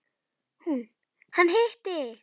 Hún: Hann hitti.